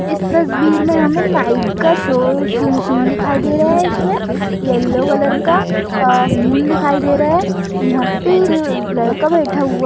इस तस्वीर में हमे नाईट का शो शुन-सीन दिखाई दे रहा है इसमें येलो कलर का अ मून दिखाई दे रहा है यहाँ पे लड़का बैठा हुआ --